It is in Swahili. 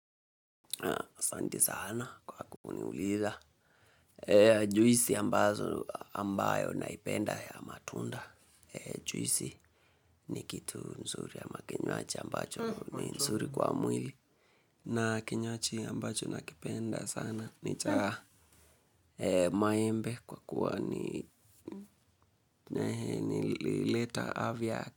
Naam asanti sana kwa kuniuliza. Juisi ambazo ambayo naipenda ya matunda. Juisi ni kitu nzuri ama kinywaji ambacho ni nzuri kwa mwili. Na kinywaji ambacho nakipenda sana. Ni chamaembe kwa kuwa huleta afya.